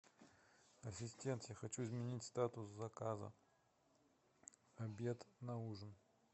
ассистент я хочу изменить статус заказа обед на ужин